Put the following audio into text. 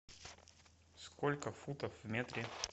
сколько футов в метре